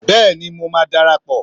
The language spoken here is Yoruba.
Béèni mo má darapọ